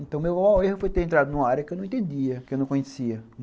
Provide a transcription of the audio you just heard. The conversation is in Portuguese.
Então, meu erro foi ter entrado numa área que eu não entendia, que eu não conhecia.